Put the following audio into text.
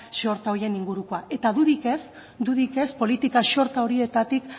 zor horien ingurukoa eta dudarik ez dudarik ez politika xorta horietatik